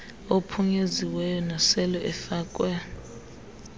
aphunyeziweyo nasele efakwe